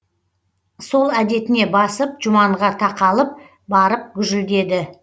сол әдетіне басып жұманға тақалып барып гүжілдеді